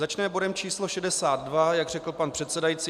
Začneme bodem číslo 62, jak řekl pan předsedající.